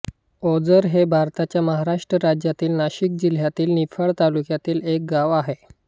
ओझर हे भारताच्या महाराष्ट्र राज्यातील नाशिक जिल्ह्यातील निफाड तालुक्यातील एक गाव आहे